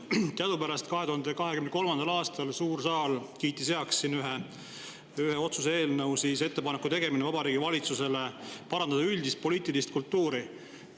Teadupärast 2023. aastal kiitis suur saal heaks otsuse "Ettepaneku tegemine Vabariigi Valitsusele parandada üldist poliitilist kultuuri" eelnõu.